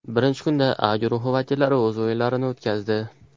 Birinchi kunda A guruhi vakillari o‘z o‘yinlarini o‘tkazdi.